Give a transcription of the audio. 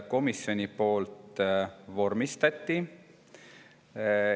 Komisjon vormistas 11 muudatusettepanekut.